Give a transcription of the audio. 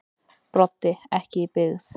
Broddi: Ekki í byggð.